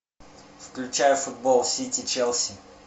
включай футбол сити челси